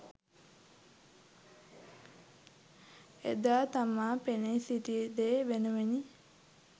එදා තමා පෙනී සිටි දේ වෙනුවෙනි